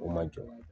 O ma jɔ